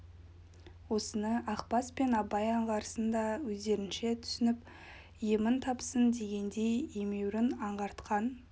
осыны ақбас пен абай аңғарсын да өздерінше түсініп емін тапсын дегендей емеурін аңғартқан